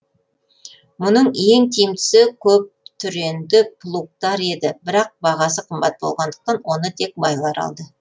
мұның ең тиімдісі көптүренді плугтар еді бірақ бағасы қымбат болғандықтан оны тек байлар алды